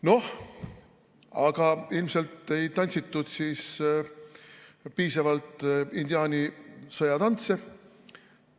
Noh, aga ilmselt ei tantsitud piisavalt indiaani sõjatantse.